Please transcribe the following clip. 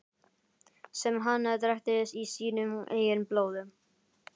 Sem hann drekkti í sínu eigin blóði.